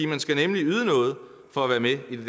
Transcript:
man skal nemlig yde noget for at være med i det